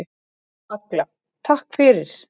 Agla: Takk fyrir.